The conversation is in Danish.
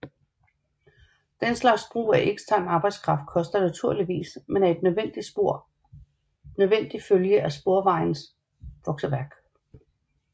Den slags brug af ekstern arbejdskraft koster naturligvis men er en nødvendig følge af Sporvejsmuseets vokseværk